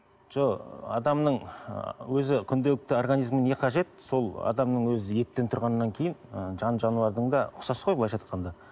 жоқ адамның өзі күнделікті организіміне не қажет сол адамның өзі еттен тұрғаннан кейін ы жан жануардың да ұқсас қой былайша айтқанда